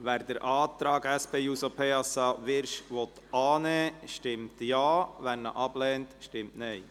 Wer den Antrag SP-JUSO-PSA/Wyrsch annehmen will, stimmt Ja, wer diesen ablehnt, stimmt Nein.